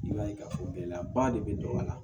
I b'a ye k'a fɔ gɛlɛyaba de bɛ a la